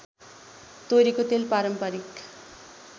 तोरीको तेल पारम्परिक